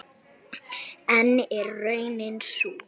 En er raunin sú?